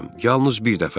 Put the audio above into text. Yalnız bir dəfə.